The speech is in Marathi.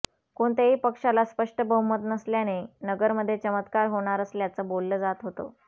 कोणत्याही पक्षाला स्पष्ट बहुमत नसल्याने नगरमध्ये चमत्कार होणार असल्याचं बोलल जात होत